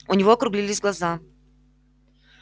у него округлились глаза